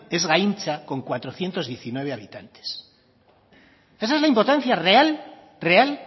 es gaintza con cuatrocientos diecinueve habitantes esa es la importancia real